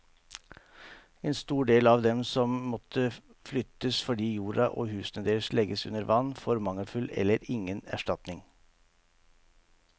En stor del av dem som må flyttes fordi jorda og husene deres legges under vann, får mangelfull eller ingen erstatning.